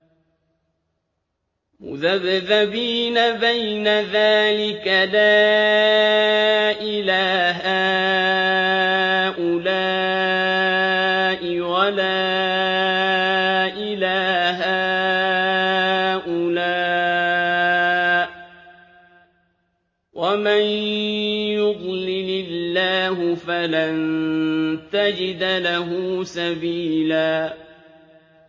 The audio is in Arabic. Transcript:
مُّذَبْذَبِينَ بَيْنَ ذَٰلِكَ لَا إِلَىٰ هَٰؤُلَاءِ وَلَا إِلَىٰ هَٰؤُلَاءِ ۚ وَمَن يُضْلِلِ اللَّهُ فَلَن تَجِدَ لَهُ سَبِيلًا